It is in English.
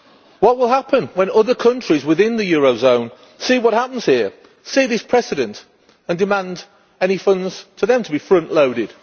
What will happen when other countries within the eurozone see what happens here, see this precedent and demand any funds to them to be frontloaded?